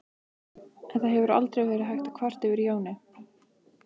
En það hefur aldrei verið hægt að kvarta yfir Jóni.